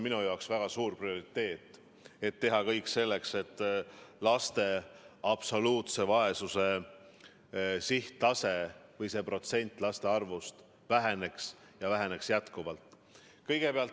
Minu jaoks on väga suur prioriteet teha kõik selleks, et laste absoluutse vaesuse tase või see protsent laste arvust väheneks, ja väheneks pidevalt.